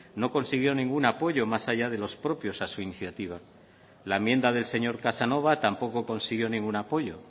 no consiguió ningún apoyo más allá de los propios a su iniciativa la enmienda del señor casanova tampoco consiguió ningún apoyo